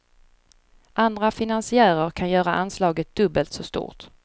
Andra finansiärer kan göra anslaget dubbelt så stort.